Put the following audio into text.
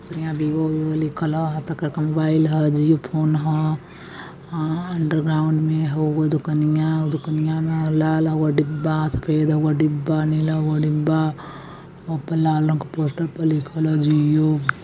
यहाँ Vivo Vivo लिखल ह। यहाँ पर कई मोबाईल है। जिओ फोन ह। अ अन्डर्ग्रैउन्ड में होगो दुकनियाँ उ दुकनियाँ में लाल ओहो डिब्बा सफेद एवो डिब्बा नीला गो डिब्बा ऊपर लाल रंग के पोस्टर प लिखल ह जियो।